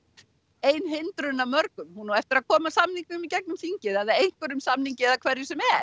ein hindrunin af mörgum hún á eftir að koma samningnum í gegnum þingið eða einhverjum samningi eða hverju sem er